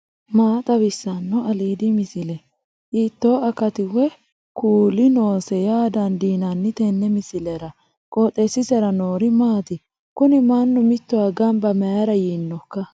maa xawissanno aliidi misile ? hiitto akati woy kuuli noose yaa dandiinanni tenne misilera? qooxeessisera noori maati? kuni mannu mittowa gamba mayra yiinnoikka